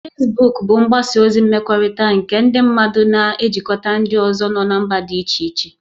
Fesbuk bụ mgbasa ozi mmekọrịta nke ndị mmadụ na-ejikọta ndị ọzọ nọ na mba dị iche iche